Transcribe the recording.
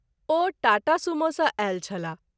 ओ Tata Sumo सँ आयल छलाह।